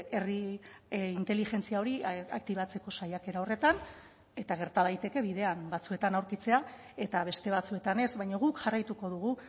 herri inteligentzia hori aktibatzeko saiakera horretan eta gerta daiteke bidean batzuetan aurkitzea eta beste batzuetan ez baina guk jarraituko dugu